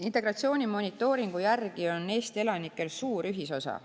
Integratsiooni monitooringu järgi on Eesti elanikel suur ühisosa.